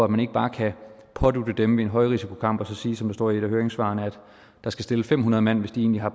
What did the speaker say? man ikke bare kan pådutte dem ved en højrisikokamp at sige som der står i et af høringssvarene at der skal stilles fem hundrede mand hvis de har